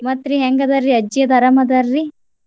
ಮತ್ತ್ರಿ ಹೆಂಗ್ ಅದಾರಿ ಅಜ್ಜಿ ಅದರ್ ಅರಾಮ ಅದಾರಿ?